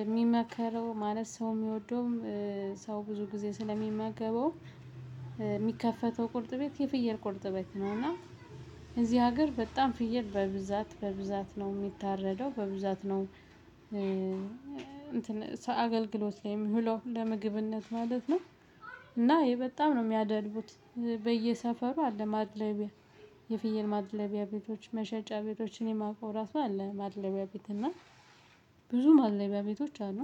የሚመከረው ማለት ሰው የሚወደውም ሰው ብዙ ጊዜ ስለሚመገበው። የሚከፈተው ቁርጥ ቤት የፍየል ቁልጥ ቤት ነው። እና እዚህ ሀገር በጣም ፍየል በብዛት በብዛት ነው የሚታረደው በብዛት ነው። እንትን አገልግሎት ላይም ብሎ ለምግብነት ማለት ነው። እና የበጣም ነው የሚያደልቡት በየሰፈሩ አለ ማድለቢያ። የፍየል ማድለቢያ ቤቶች መሸጫ ቤቶችን እኔ ማውቀው ራሱ አለ ማድለቢያ ቤት እና ብዙ ማድለቢያ ቤቶች አሉ።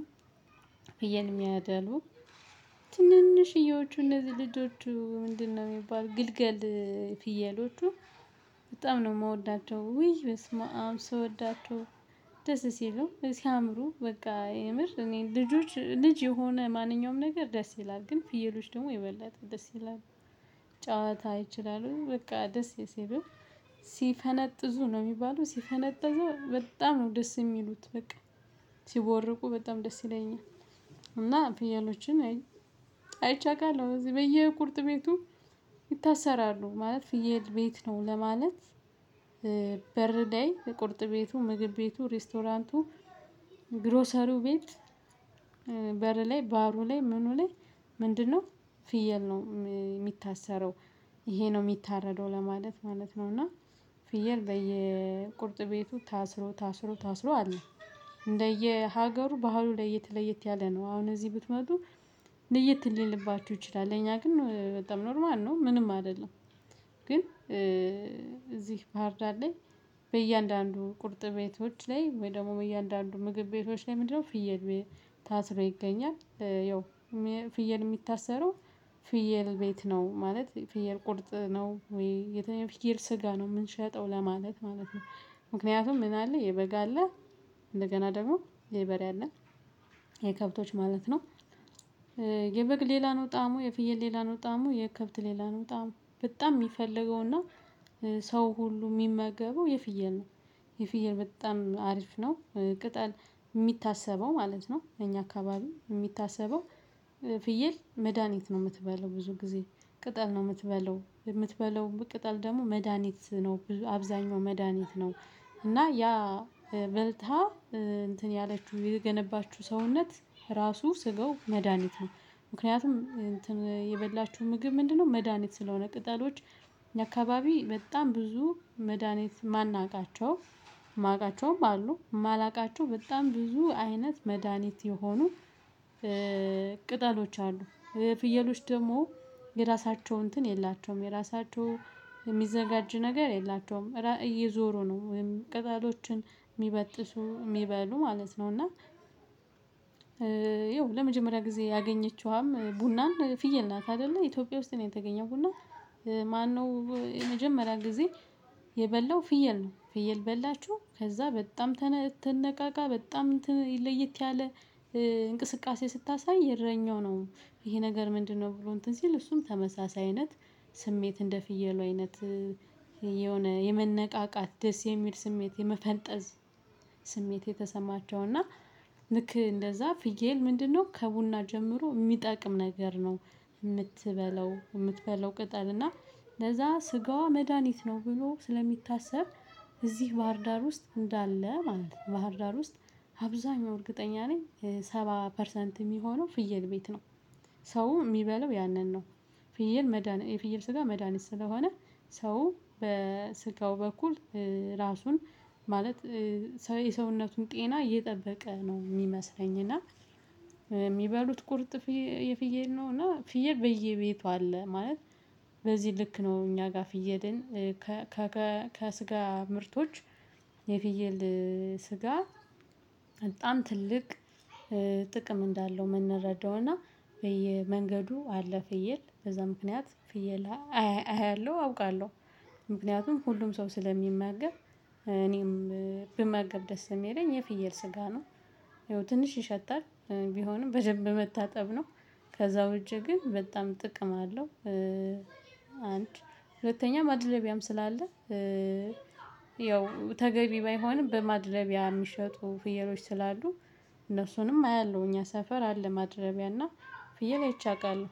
ፍየል የሚያደልቡ። ትንንሽዬዎቹ እነዚህ ልጆቹ ምንድነው የሚባል ግልገል? ፍየሎቹ በጣም ነው የምወዳቸው ውይ በስመ አብ ስወዳቸው። ሲሉ ሲያምሩ በቃ የምር እኔ ልጆች ልጅ የሆነ ማንኛውም ነገር ደስ ይላል። ግን ፍየሎች ደግሞ የበላት ደስ ይላል ጨዋታ ይችላሉ። በቃ ደስ ሲሉኝ ሲፈነጥዙ ነው የሚባለው ሲፈነጥዙ በጣም ነው ደስ የሚሉት በቃ ሲቦርቁ በጣም ደስ ይለኛል። እና ፍያሎችን አይቼ አውቃለሁ በዚህ በየቁርጥ ቤቱ። ይታሰራሉ ማለት ፍየል ቤት ነው ለማለት። በር ላይ እቁርጥ ቤቱ ምግብ ቤቱ ሬስቶራንቱ ግሮሰሪው ቤት። በር ላይ ባሩ ላይ ምኑ ላይ ምንድነው? ፍየል ነው የሚታሰረው። ይሄ ነው የሚታረደው ለማለት ማለት ነው። እና ፍየል በየቁርጥ ቤቱ ታስሮ ታስሮ ታስሮ አለ። እንደየ ሀገሩ ባህሉ ለየት ለየት ያለ ነው። አሁን እዚህ ብትመጡ ለየት ሊልባችሁ ይችላል። ለእኛ ግን በጣም ኖርማል ነው ምንም አይደለም። ግን እዚህ ባህርዳር ላይ። በእያንዳንዱ ቁርጥ ቤቶች ላይ ወይ ደግሞ እያንዳንዱ ምግብ ቤቶች ላይ ምንድነው? ፍየል ታስሮ ይገኛል። ያው ፍየል የሚታሰረው። ፍየል ቤት ነው ማለት ፍየል ቁርጥ ነው ወይ የትኛው ፍየል ስጋ ነው የምንሸጠው ለማለት ማለት ነው። ምክንያቱም ምን አለ የበጋ አለ። እንደገና ደግሞ የበሬ አለ። የከብቶች ማለት ነው። የበግ ሌላ ነው ጣሙ የፍየል ሌላ ነው ጣሙ የከብት ሌላ ነው ጣሙ በጣም የሚፈልገውና ሰው ሁሉ የሚመገበው የፍየል ነው። የፍየል በጣም አሪፍ ነው። ቅጠል የሚታሰበው ማለት ነው እኛ አካባቢ የሚታሰበው። ፍየል መድሃኒት ነው የምትበለው ብዙ ጊዜ ቅጠል ነው የምትበለው የምትበለው ቅጠል ደግሞ መድሃኒት ነው አብዛኛው መድሃኒት ነው። እና ያ በልታ እንትን ያለችው የሚገነባችሁ ሰውነት ራሱ ስጋው መድሃኒት ነው። ምክንያቱም የበላችሁ ምግብ ምንድነው? መድሃኒት ስለሆነ ቅጠሎች። እኛ አካባቢ በጣም ብዙ መድሃኒት የማናውቃቸው የማውቃቸውም አሉ የማላውቃቸው በጣም ብዙ አይነት መድሃኒት የሆኑ ቅጠሎች አሉ። ፍየሎች ደግሞ የራሳቸው እንትን የላቸውም የራሳቸው የሚዘጋጅ ነገር የላቸውም። እየዞሩ ነው ቅጠሎችን የሚበጥሱ የሚበሉ ማለት ነው። እና ለመጀመሪያ ጊዜ ያገኘችውም ቡናን ፍየል ናት አይደለ ኢትዮጵያ ውስጥ ነው የተገኘው ቡና። የመጀመሪያ ጊዜ የበላው ፍየል ነው ፍየል በላችሁ ከዛ በጣም ትነቃቃ በጣም እንትን ለየት ያለ እንቅስቃሴ ስታሳይ የእረኛው ነው። ይሄ ነገር ምንድነው? ብሎ እንትን ሲል እሱም ተመሳሳይ አይነት ስሜት እንደ ፍየሉ አይነት የሆነ የመነቃቃት ደስ የሚል ስሜት የመፈንጠዝ። ስሜት የተሰማቸው እና ልክ እንደዛ ፍየል ምንድነው ከቡና ጀምሮ የሚጠቅም ነገር ነው። የምትበለው የምትበለው ቅጠል እና ለዛ ስጋዋ መድሃኒት ነው ብሎ ስለሚታሰብ። እዚህ ባህርዳር ውስጥ እንዳለ ማለት ነው። ባህርዳር ዳር ውስጥ አብዛኛው እርግጠኛ ነኝ ሰባ ፐርሰንት የሚሆነው ፍየል ቤት ነው። ሰው የሚበለው ያንን ነው። ፍየል መድሃኒት የፍየል ስጋ መድሃኒት ስለሆነ። ሰው በስጋው በኩል ራሱን ማለት የሰውነቱን ጤና እየጠበቀ ነው የሚመስለኝ። እና የሚበሉት ቁርጥ የፍየል ነው። እና ፍየል በየቤቱ አለ ማለት በዚህ ልክ ነው እኛ ጋር ፍየልን። ከስጋ ምርቶች የፍየል ስጋ በጣም ትልቅ ጥቅም እንዳለው የምንረዳው እና በየመንገዱ አለ ፍየል በዛ ምክንያት ፍየል አያለሁ አውቃለሁ። ምክንያቱም ሁሉም ሰው ስለሚመገብ እኔም ብመገብ ደስ የሚለኝ የፍየል ስጋ ነው። ይኸው ትንሽ ይሸታል። ቢሆንም በደንብ መታጠብ ነው። ከዛ ውጭ ግን በጣም ጥቅም አለው። አንድ ሁለተኛ ማድለቢያም ስላለ። ያው ተገቢ ባይሆንም በማድለቢያ የሚሸጡ ፍየሎች ስላሉ። እነሱንም አያለሁ እኛ ሰፈር አለ ማድረቢያ እና ፍየል አይቼ አውቃለሁ።